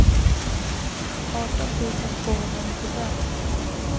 arton tusen tvåhundranittiofem